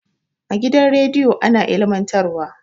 A gidan radiyo ana ilmantar wa